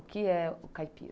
O que é o caipira?